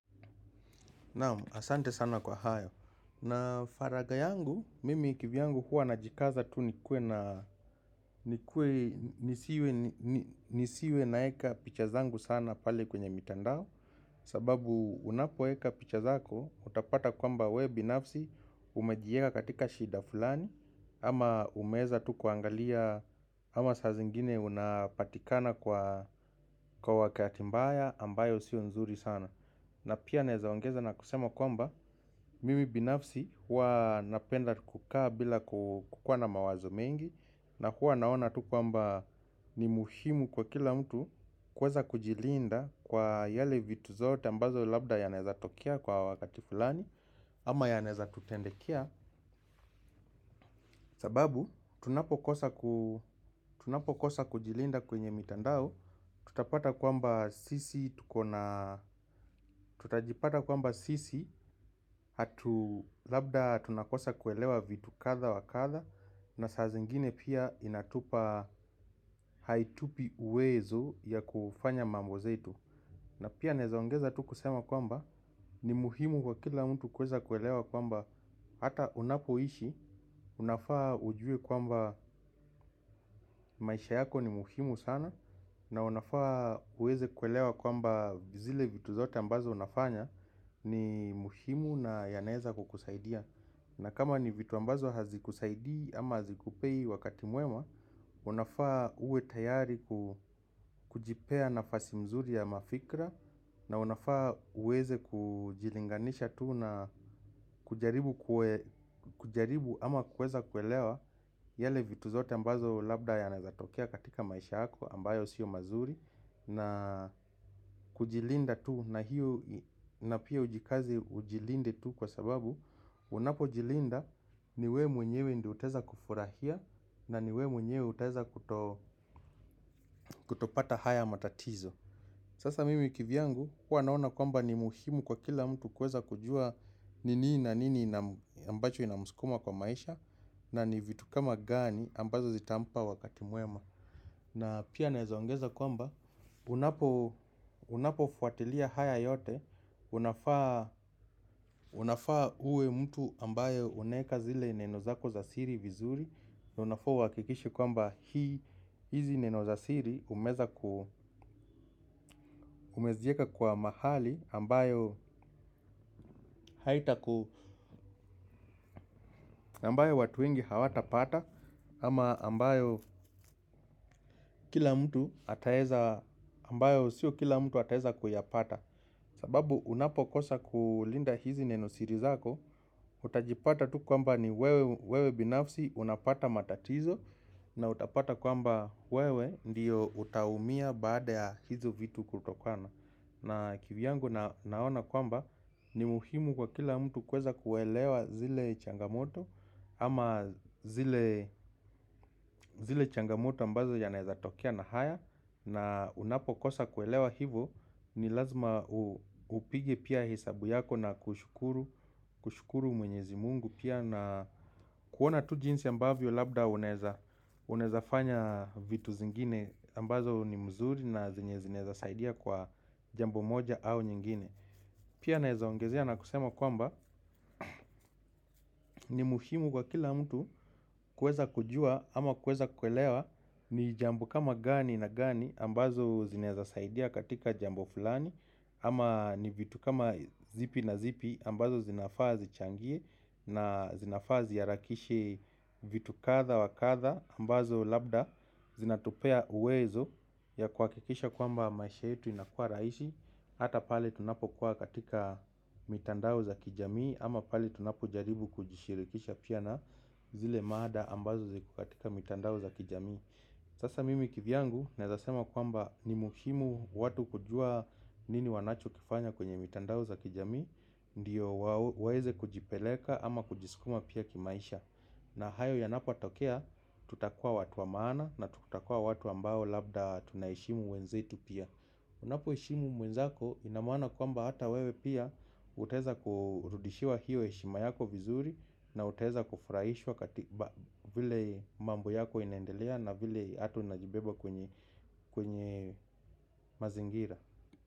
Naam, asante sana kwa hayo. Na faraga yangu, mimi kivyangu huwa najikaza tu nisiwe naeka picha zangu sana pale kwenye mitandao. Sababu unapoeka picha zako, utapata kwamba wewe binafsi, umejieka katika shida fulani, ama umeweza tu kuangalia, ama saa zingine unapatikana kwa wakati mbaya ambayo sio nzuri sana. Na pia naezaongeza na kusema kwamba mimi binafsi huwa napenda kukaa bila kukuwa na mawazo mengi. Na huwa naona tu kwamba ni muhimu kwa kila mtu kuweza kujilinda kwa yale vitu zote ambazo labda yanaeza tokea kwa wakati fulani. Ama yanaeza tutendekea. Sababu tunapokosa kujilinda kwenye mitandao. Tutapata kwamba sisi, tutajipata kwamba sisi, labda tunakosa kuelewa vitu kadha wa kadha. Na saa zingine pia inatupa haitupi uwezo ya kufanya mambo zetu. Na pia naezaongeza tu kusema kwamba ni muhimu kwa kila mtu kueza kuelewa kwamba hata unapoishi, unafaa ujue kwamba maisha yako ni muhimu sana. Na unafaa uweze kuelewa kwamba zile vitu zote ambazo unafanya ni muhimu nayanaeza kukusaidia. Na kama ni vitu ambazo hazikusaidii ama hazikupei wakati mwema. Unafaa uwe tayari kujipea nafasi mzuri ya mafikra. Na unafaa uweze kujilinganisha tu na kujaribu ama kuweza kuelewa. Yale vitu zote ambazo labda yanaezatokea katika maisha yako ambayo sio mazuri. Na kujilinda tu na hiyo na pia ujikaze ujilinde tu kwa sababu unapojilinda ni wewe mwenyewe ndio utaeza kufurahia na ni wewe mwenyewe utaeza kutopata haya matatizo. Sasa mimi kivyangu huwa naona kwamba ni muhimu kwa kila mtu kuweza kujua ni nini na nini ambacho inamsukuma kwa maisha. Na ni vitu kama gani ambazo zitampa wakati mwema. Na pia naezaongeza kwamba unapofuatilia haya yote. Unafaa uwe mtu ambayo unaeka zile neno zako za siri vizuri. Unafaa uhakikishe kwamba hizi neno za siri umezieka kwa mahali ambayo haitaku ambayo watu wengi hawata pata. Ama ambayo sio kila mtu ataeza kuyapata. Sababu unapokosa kulinda hizi neno siri zako. Utajipata tu kwamba ni wewe binafsi unapata matatizo. Na utapata kwamba wewe ndio utaumia baada ya hizo vitu kutokana na kivyangu naona kwamba ni muhimu kwa kila mtu kuweza kuelewa zile changamoto. Ama zile changamoto ambazo yanaeza tokea na haya na unapokosa kuelewa hivo. Ni lazima upige pia hesabu yako na kushukuru mwenyezi Mungu. Pia na kuona tu jinsi ambavyo labda unaeza fanya vitu zingine ambazo ni mzuri na zenye zinaeza saidia kwa jambo moja au nyingine. Pia naeza ongezea na kusema kwamba ni muhimu kwa kila mtu kuweza kujua ama kueza kuelewa ni jambo kama gani na gani ambazo zinaeza saidia katika jambo fulani. Ama ni vitu kama zipi na zipi ambazo zinafaa zichangie na zinafaa ziharakishe vitu kadha wa kadha ambazo labda zinatupea uwezo ya kuhakikisha kwamba maisha yetu inakuwa rahisi. Hata pale tunapokuwa katika mitandao za kijamii ama pale tunapojaribu kujishirikisha pia na zile mada ambazo ziko katika mitandao za kijamii. Sasa mimi kivyangu naeza sema kwamba ni muhimu watu kujua nini wanacho kifanya kwenye mitandao za kijamii. Ndio waeze kujipeleka ama kujiskuma pia kimaisha. Na hayo yanapotokea tutakuwa watu wa maana na tutakua watu ambao labda tunaheshimu wenzetu pia. Unapoheshimu mwenzako ina maana kwamba hata wewe pia. Utaweza kurudishiwa hiyo heshima yako vizuri. Na utaweza kufurahishwa vile mambo yako inaendelea. Na vile hata unajibeba kwenye mazingira.